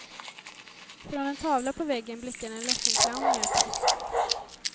Från en tavla på väggen blickar en ledsen clown ner på oss.